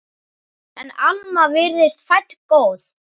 En Alma virtist fædd góð.